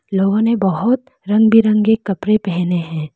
लोगों ने बहोत रंग बिरंगे कपड़े पहने हैं।